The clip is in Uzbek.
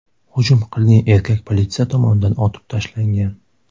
Hujum qilgan erkak politsiya tomonidan otib tashlangan.